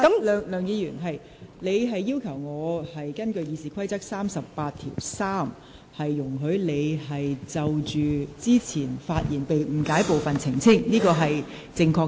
梁議員，你要求我根據《議事規則》第383條，容許你就先前發言中被誤解的部分作出澄清，這是正確的。